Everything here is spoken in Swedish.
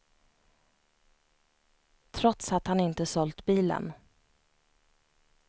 Trots att han inte sålt bilen.